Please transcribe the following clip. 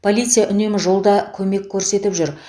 полиция үнемі жолда көмек көрсетіп жүр